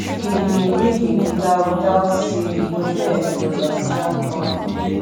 him him bring him guitar without say e nor tell anybody and we jam all evening